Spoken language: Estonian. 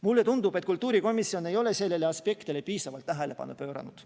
Mulle tundub, et kultuurikomisjon ei ole sellele aspektile piisavalt tähelepanu pööranud.